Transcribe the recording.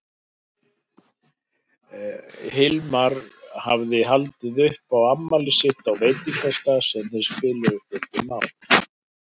Hilmar hafði haldið upp á afmælið sitt á veitingastað sem þeir spiluðu stundum á.